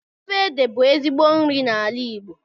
Ofe ede bú ezigbo nri n'ala Igbo